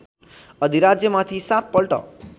अधिराज्यमाथि सात पल्ट